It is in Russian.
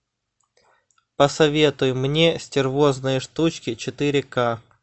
посоветуй мне стервозные штучки четыре ка